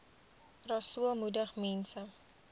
rasool moedig mense